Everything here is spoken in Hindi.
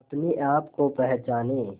अपने आप को पहचाने